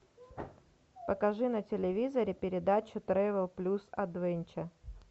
покажи на телевизоре передачу трэвел плюс адвенчер